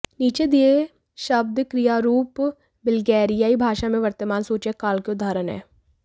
नीचे दिए शब्द क्रियारूप बल्गेरियाई भाषा में वर्तमान सूचक काल के उदाहरण हैं